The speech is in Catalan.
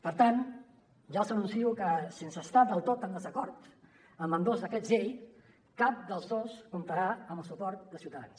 per tant ja els anuncio que sense estar del tot en desacord amb ambdós decrets llei cap dels dos comptarà amb el suport de ciutadans